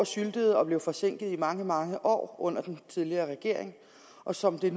syltet og blev forsinket i mange mange år under den tidligere regering og som det